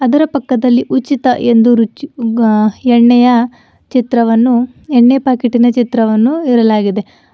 ಇದರ ಪಕ್ಕದಲ್ಲಿ ಉಚಿತ ಎಂದು ರುಚಿ ಉಗ್ಗ ಎಣ್ಣೆಯ ಚಿತ್ರವನ್ನು ಎಣ್ಣೆ ಪ್ಯಾಕೆಟಿನ ಚಿತ್ರವನ್ನು ಇರಲಾಗಿದೆ.